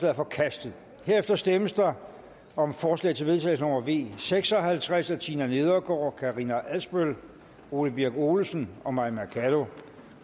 er forkastet herefter stemmes der om forslag til vedtagelse nummer v seks og halvtreds af tina nedergaard karina adsbøl ole birk olesen og mai mercado